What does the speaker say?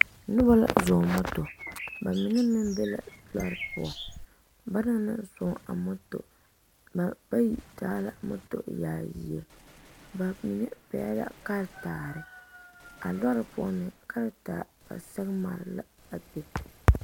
Nobɔ la zɔɔ moto ba mine meŋ be la lɔre poɔ ba naŋ naŋ zɔɔ a moto ba bayi taa la moto yaayie ba mine pɛgle la karetaare a lɔre poɔ meŋ karetaare ba sɛge mare la a be.